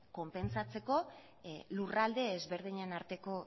konpentsatzeko lurralde ezberdinen arteko